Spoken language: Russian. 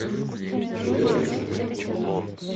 что делаешь